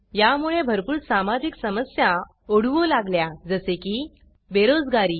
यामुळे भरपूर सामाजिक समस्या ओढवू लागल्या जसे की बेरोजगारी